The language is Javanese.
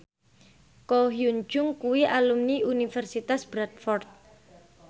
Ko Hyun Jung kuwi alumni Universitas Bradford